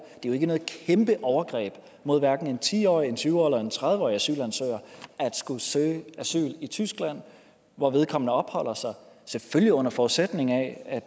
jo ikke noget kæmpe overgreb mod hverken en ti årig en tyve årig eller en tredive årig asylansøger at skulle søge asyl i tyskland hvor vedkommende opholder sig selvfølgelig under forudsætning af at